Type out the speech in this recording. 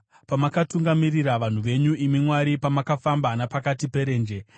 Pamakatungamirira vanhu venyu, imi Mwari, pamakafamba napakati perenje, Sera